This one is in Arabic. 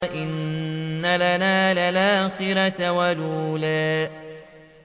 وَإِنَّ لَنَا لَلْآخِرَةَ وَالْأُولَىٰ